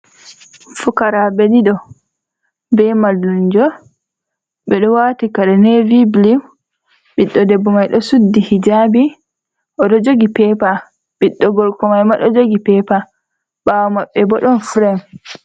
Fukaraaɓe ɗiɗo, be mallumjo ɓe ɗo waati kare navy bulu. Ɓiɗɗo debbo mai ɗo suddi hijabi, oɗo jogi pepa. Ɓiɗɗo gorko mai ma ɗo jogi pepa. Ɓawo maɓɓe bo ɗon frem.